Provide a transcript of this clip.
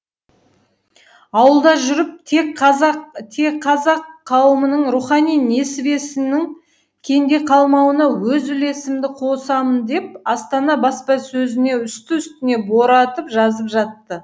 ауылда жүріп те қазақ қауымының рухани несібесінің кенде қалмауына өз үлесімді қосамын деп астана баспасөзіне үсті үстіне боратып жазып жатты